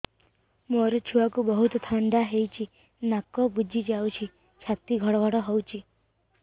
ମୋ ଛୁଆକୁ ବହୁତ ଥଣ୍ଡା ହେଇଚି ନାକ ବୁଜି ଯାଉଛି ଛାତି ଘଡ ଘଡ ହଉଚି